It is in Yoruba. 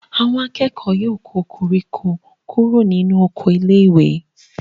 Àwọn akẹ́kọ̀ọ́ ó yọ koríko kúrò nínú oko iléèwé